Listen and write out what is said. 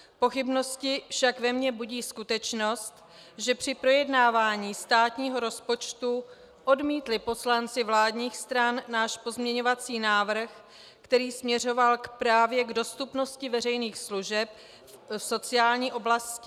Pochybnosti však ve mně budí skutečnost, že při projednávání státního rozpočtu odmítli poslanci vládních stran náš pozměňovací návrh, který směřoval právě k dostupnosti veřejných služeb v sociální oblasti.